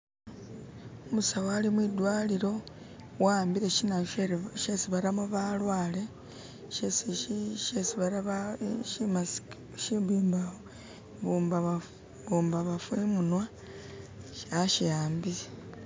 Umusawo alimwidwalilo awambile shinayu shesi batamo balwale shesi i.. shi mask ... Shibumbamafu imunwa, ashiwambile.